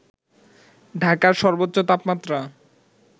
ঢাকার সর্বোচ্চ তাপমাত্রা